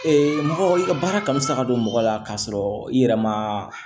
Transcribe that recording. mɔgɔ i ka baara kanu sa ka don mɔgɔ la k'a sɔrɔ i yɛrɛ ma